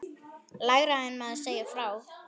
Lægra en maður segir frá.